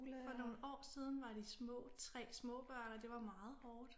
For nogle år siden var de små 3 små børn og det var meget hårdt